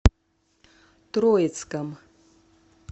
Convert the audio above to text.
троицком